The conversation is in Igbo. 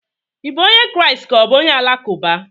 Ị bụ onye Kraịst ka ọ bụ onye Alakụba?